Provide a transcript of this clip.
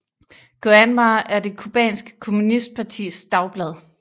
Granma er det cubanske kommunistpartis dagblad